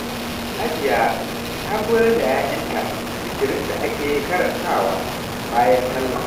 Hajiya ta koyar da ‘ya’yanta zikirin da ake karantawa bayan sallah.